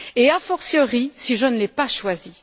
Et a fortiori si je ne l'ai pas choisi.